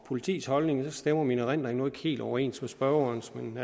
politiets holdning stemmer min erindring nu ikke helt overens med spørgerens men